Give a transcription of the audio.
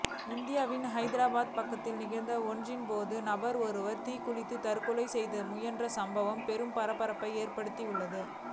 இந்தியாவின் ஹைதராபாத்தில் நிகழ்ச்சி ஒன்றின் போது நபர் ஒருவர் தீக்குளித்து தற்கொலைக்கு முயன்ற சம்பவம் பெரும் பரபரப்பினை ஏற்படுத்தியுள்ளது